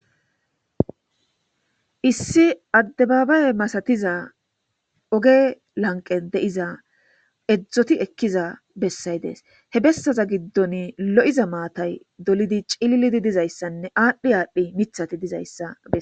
Issi addebaabay masatiza oge lanqen deiza edzdzoti ekkiza bessay dees he bessaza giddon lo'iza maatay dolidi cillidi dizayssanne aadhdhi aadhdhi mithati dizayssae.